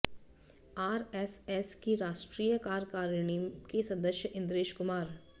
RSS की राष्ट्रीय कार्यकारिणी के सदस्य इंद्रेश कुमार